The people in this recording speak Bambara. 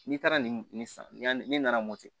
N'i taara ni nin sanni ni nana mɔti